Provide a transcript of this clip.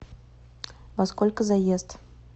во сколько заезд